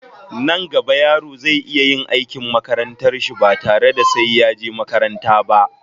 Nan gaba yaro zai iya yin aikin makarantar shi ba tare da sai ya je makaranta ba